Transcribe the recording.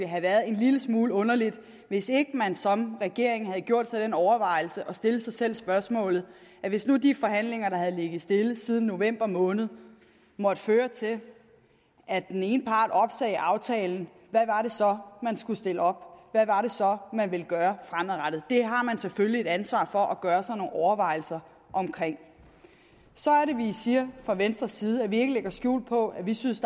have været en lille smule underligt hvis ikke man som regering havde gjort sig den overvejelse og stillet sig selv spørgsmålet hvis nu de forhandlinger der har ligget stille siden november måned måtte føre til at den ene part opsagde aftalen hvad var det så man skulle stille op hvad var det så man ville gøre fremadrettet det har man selvfølgelig et ansvar for at gøre sig nogle overvejelser om så er det vi siger fra venstres side at vi ikke lægger skjul på at vi synes